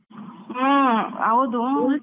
ಹ್ಮ್ ಹೌದು.